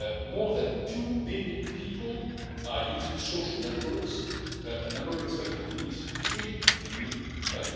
More than two billion people are using social networks, a number expected to reach three billion by